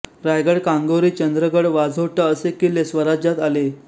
रायगड कांगोरी चंद्रगड वाझोटा असे किल्ले स्वराज्यात आले